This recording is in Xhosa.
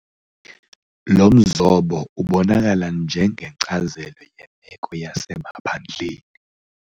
Lo mzobo ubonakala njengenkcazelo yemeko yasemaphandleni.